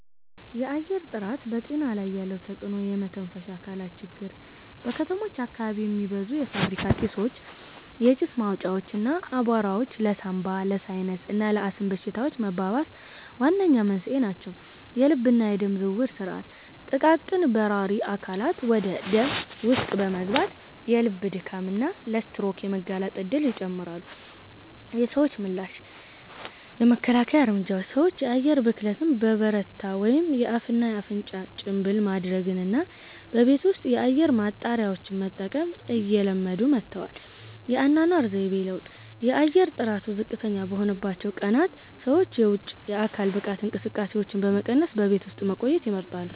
የአየር ጥራት በጤና ላይ ያለው ተጽዕኖ የመተንፈሻ አካላት ችግር:- በከተሞች አካባቢ የሚበዙ የፋብሪካ ጢሶች፣ የጭስ ማውጫዎች እና አቧራዎች ለሳንባ፣ ለሳይነስ እና ለአስም በሽታዎች መባባስ ዋነኛ መንስኤ ናቸው። የልብና የደም ዝውውር ሥርዓት፦ ጥቃቅን በራሪ አካላት ወደ ደም ውስጥ በመግባት ለልብ ድካም እና ለስትሮክ የመጋለጥ እድልን ይጨምራሉ። የሰዎች ምላሽ የመከላከያ እርምጃዎች፦ ሰዎች የአየር ብክለት በበረታበት ወቅት የአፍና አፍንጫ ጭንብል ማድረግንና በቤት ውስጥ የአየር ማጣሪያዎችን መጠቀምን እየለመዱ መጥተዋል። የአኗኗር ዘይቤ ለውጥ፦ የአየር ጥራቱ ዝቅተኛ በሆነባቸው ቀናት ሰዎች የውጪ የአካል ብቃት እንቅስቃሴዎችን በመቀነስ በቤት ውስጥ መቆየትን ይመርጣሉ።